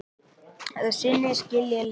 Að sinni skilja leiðir.